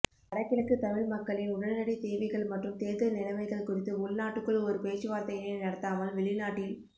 வடகிழக்கு தமிழ் மக்களின் உடனடித்தேவைகள் மற்றும் தேர்தல் நிலமைகள் குறித்து உள்நாட்டுக்குள் ஒரு பேச்சுவார்த்தையினை நடத்தாமல் வெளிநாட்டில்